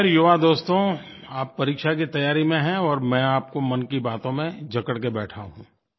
ख़ैर युवा दोस्तो आप परीक्षा की तैयारी में हैं और मैं आपको मन की बातों में जकड़ कर बैठा हूँ